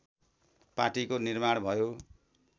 पार्टीको निर्माण भयो